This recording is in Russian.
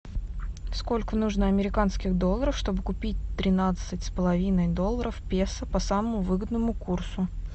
сколько нужно американских долларов чтобы купить тринадцать с половиной долларов песо по самому выгодному курсу